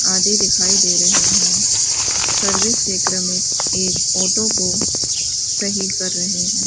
आदि दिखाई दे रहे है सर्विस के क्रम में एक ऑटो को सही कर रहे है।